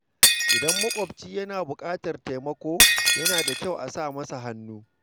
Idan makwabci yana da buƙatar taimako, yana da kyau a sa masa hannu.